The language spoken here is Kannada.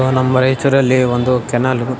ನಮ್ ಪರಿಚ್ಯಾದಲ್ಲಿ ಒಂದು ಕೆನಾಲ್ --